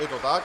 Je to tak.